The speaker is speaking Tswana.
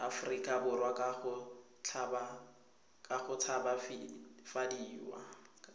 aforika borwa ka go tshabafadiwa